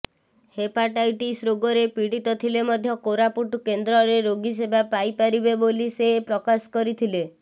hepatitis ରୋଗରେ ପୀଡିତ ଥିଲେ ମଧ୍ୟ କୋରାପୁଟ କେନ୍ଦ୍ରରେ ରୋଗୀ ସେବା ପାଇପାରିବେ ବୋଲି ସେ ପ୍ରକାଶ କରିଥିଲେ